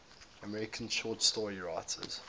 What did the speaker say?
american short story writers